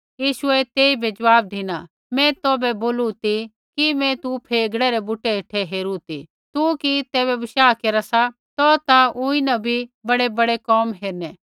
यीशुऐ तेइबै ज़वाब धिना मैं तौभै बोलू ती कि मैं तू फेगड़े रै बुटै हेठै हेरू ती तू कि तैबै बशाह केरा सा तो ता ऊँई न भी बड़ैबड़ै कोम हेरणै